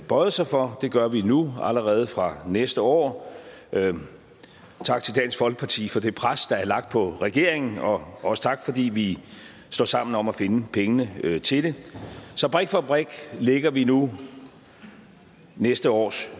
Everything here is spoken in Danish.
bøjet sig for det gør vi nu allerede fra næste år tak til dansk folkeparti for det pres der er lagt på regeringen og også tak fordi vi står sammen om at finde pengene til det så brik for brik lægger vi nu næste års